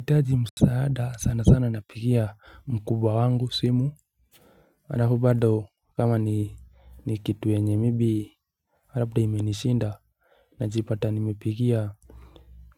Nikihitaji msaada sana sana napigia mkubwa wangu simu Alafu bado kama ni kitu yenye maybe labda imenishinda Najipata nimepigia